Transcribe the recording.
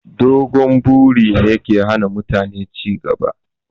Dogon buri ne ke hana mutane ci gaba